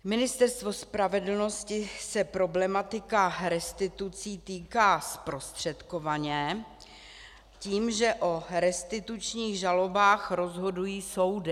Ministerstva spravedlnosti se problematika restitucí týká zprostředkovaně, tím, že o restitučních žalobách rozhodují soudy.